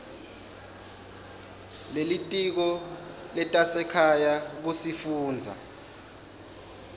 lelitiko letasekhaya kusifundza